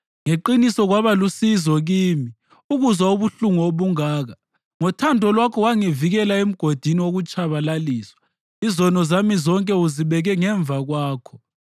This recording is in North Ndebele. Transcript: Ngeqiniso kwaba lusizo kimi ukuzwa ubuhlungu obungaka. Ngothando lwakho wangivikela emgodini wokutshabalaliswa; izono zami zonke uzibeke ngemva kwakho.